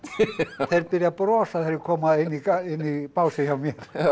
þeir byrja að brosa þegar þeir koma inn í básinn hjá mér